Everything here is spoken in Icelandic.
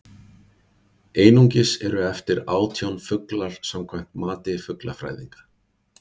einungis eru eftir átján fuglar samkvæmt mati fuglafræðinga